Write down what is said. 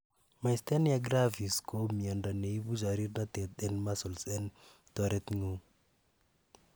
myasthenia gravis ko miondo neibu chorirnotet en muscles en teretngung